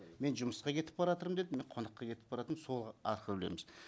мен жұмысқа кетіп баратырмын деп мен қонаққа кетіп баратырмын сол арқылы білеміз